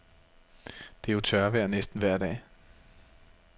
Det er jo tørvejr næsten vejr dag.